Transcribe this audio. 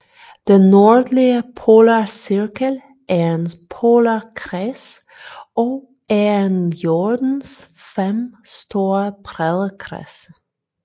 Den nordlige polarcirkel er en polarkreds og er en af Jordens fem store breddekredse